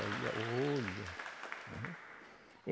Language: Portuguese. Olha, olha! Né?